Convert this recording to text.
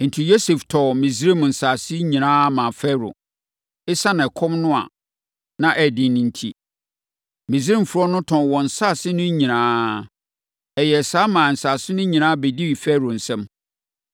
Enti, Yosef tɔɔ Misraim nsase nyinaa maa Farao. Esiane ɛkɔm no ano den enti, Misraimfoɔ no tɔn wɔn nsase no nyinaa. Ɛyɛɛ saa maa nsase no nyinaa bɛdii Farao nsam.